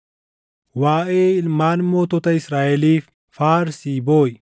“Waaʼee ilmaan mootota Israaʼeliif faarsii booʼi;